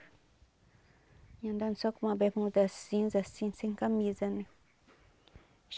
Vinha andando só com uma bermuda cinza assim, sem camisa, né?